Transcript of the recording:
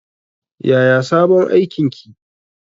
Yaya sabon aikin ki?